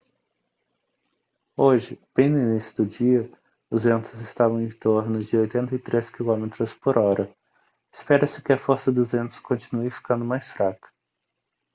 hoje bem no início do dia os ventos estavam em torno de 83 quilômetros por hora espera-se que a força dos ventos continue ficando mais fraca